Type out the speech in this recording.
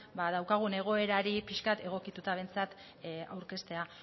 daukagun egoerari pixka bat egokituta behintzat aurkeztea